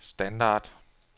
standard